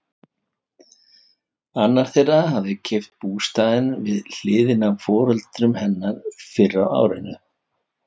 Annar þeirra hafði keypt bústaðinn við hliðina á foreldrum hennar fyrr á árinu.